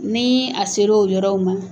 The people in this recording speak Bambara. Ni a ser'o yɔrɔw ma